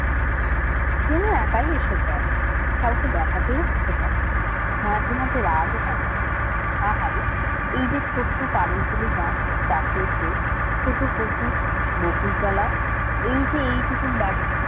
কুমু একাই এসব দেখে কাউকে দেখাতেও ইচ্ছা করে না। মাঝে মাঝে রাগ হয় মনে আহারে এই যে ছোট্ট কানক জেলেরা চাষের ক্ষেত ছোট পুকুর বকুলতলা এই যে এইটুকুন বাড়ি